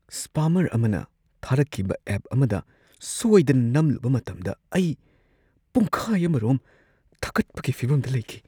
Spammer ꯑꯃꯅ ꯊꯥꯔꯛꯈꯤꯕ ꯑꯦꯞ ꯑꯃꯗ ꯁꯣꯏꯗꯅ ꯅꯝꯂꯨꯕ ꯃꯇꯝꯗ ꯑꯩ ꯄꯨꯡꯈꯥꯏ ꯑꯃꯔꯣꯝ ꯊꯛꯀꯠꯄꯒꯤ ꯐꯤꯚꯝꯗ ꯂꯩꯈꯤ ꯫